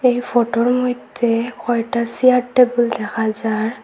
এই ফটোর মইদ্যে কয়টা চেয়ার টেবিল দেখা যার।